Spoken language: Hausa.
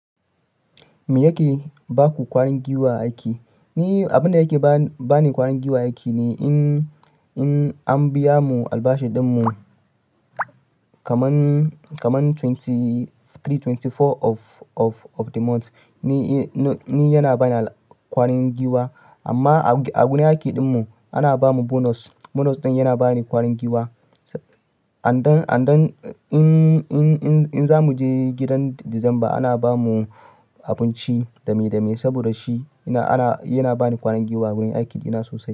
Me yake ba ku ƙwarin giwa aiki? Ni abin da yake ba ni ƙwarin giwa aiki ne in an biya mu albashin ɗin mu kaman 23rd, 24th of the month. Ni yana bani ƙwarin giwa amma a gurin aiki ɗin mu ana ba mu bonus. Bonus ɗin yana bani ƙwarin giwa. Andan, andan in za mu je gidan Disamba ana ba mu abinci dame dame saboda shi yana bani ƙwarin giwa a gurin aikin ina sosai.